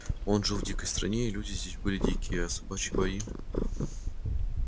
он жил в дикой стране и люди здесь были дикие а собачьи бои